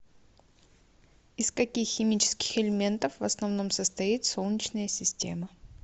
из каких химических элементов в основном состоит солнечная система